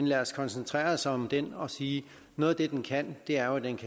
lad os koncentrere os om den og sige noget af det den kan er jo at